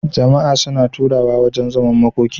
Jama a suna taruwa wajan zaman makoki